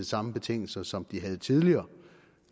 samme betingelser som de havde tidligere